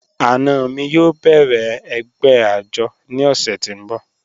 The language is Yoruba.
Ana mi yóò bẹ̀rẹ̀ ẹ̀gbẹ́ ajọ̀ ni ọṣẹ̀ ti ǹ bọ̀